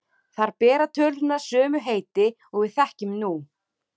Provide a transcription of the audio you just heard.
Þar bera tölurnar sömu heiti og við þekkjum nú.